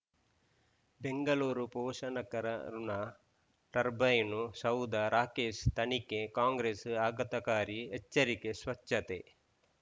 ಬೆಂಗಳೂರು ಪೋಷನಕರಋಣ ಟರ್ಬೈನು ಶವ್ಧ ರಾಕೇಶ್ ತನಿಖೆಗೆ ಕಾಂಗ್ರೆಸ್ ಆಘಾತಕಾರಿ ಎಚ್ಚರಿಕೆ ಸ್ವಚ್ಛತೆ